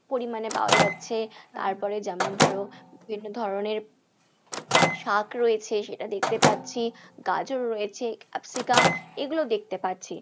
পরিমাণে পাওয়া যাচ্ছে, যেমন ধরো বিভিন্ন ধরনের শাক রয়েছে সেটা দেখতে পাচ্ছি, গাজর রয়েছে, ক্যাপসিকাম এইগুলো দেখতে পাচ্ছি।